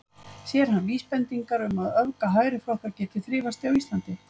Sér hann vísbendingar um að öfga hægriflokkar geti þrifist á Íslandi?